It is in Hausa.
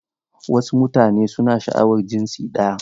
Wasu mutane suna sha'awar jinsi ɗaya.